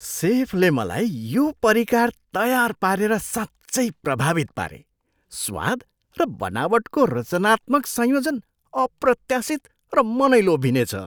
सेफले मलाई यो परिकार तयार पारेर साँच्चै प्रभावित पारे, स्वाद र बनावटको रचनात्मक संयोजन अप्रत्याशित र मनै लोभिने छ।